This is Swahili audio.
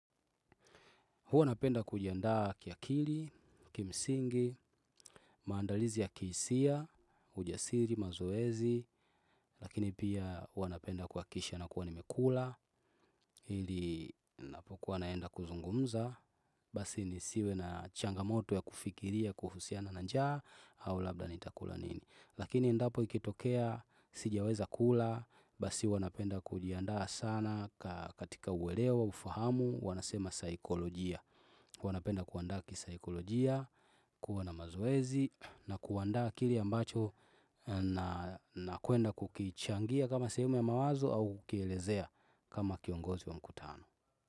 Huwa napenda kujiandaa kiakili, kimsingi, maandalizi ya kihisia, ujasiri, mazoezi, lakini pia huwa napenda kuakisha na kuwa nimekula, hili napokuwa naenda kuzungumza, basi nisiwe na changamoto ya kufikiria, kuhusiana na njaa, au labda nitakula nini. Lakini endapo ikitokea, sijaweza kula, basi huwa napenda kujiandaa sana katika uelewa, ufahamu, wanasema saikolojia. Wanapenda kuandaa kisaikolojia, kuwa na mazoezi na kuandaa kilie ambacho na kuenda kukichangia kama sehemu ya mawazo au kukielezea kama kiongozi wa mkutano.